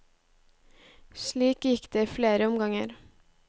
Slik gikk det i flere omganger.